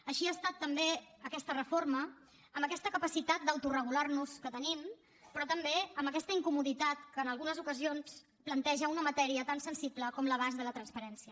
així ha estat també aquesta reforma amb aquesta capacitat d’autoregularnos que tenim però també amb aquesta incomoditat que en algunes ocasions planteja una matèria tan sensible com l’abast de la transparència